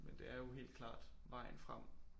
Men det er jo helt klart vejen frem